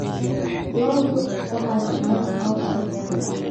Ladu waxay cunaan cawska beerta.